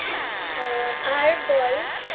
এ আর বল